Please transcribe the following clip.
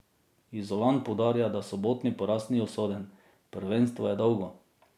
Izolan poudarja, da sobotni poraz ni usoden: "Prvenstvo je dolgo.